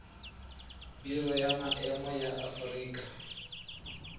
biro ya maemo ya aforika